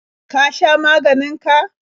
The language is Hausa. Ka sha maganin ka?